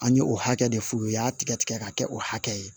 An ye o hakɛ de f'u ye u y'a tigɛ tigɛ k'a kɛ o hakɛ ye